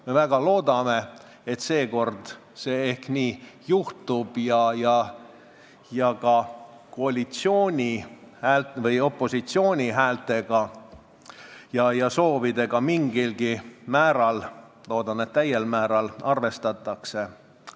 Me väga loodame, et seekord nii juhtub ning opositsiooni häältega ja soovidega mingilgi määral – loodetavasti täiel määral – arvestatakse.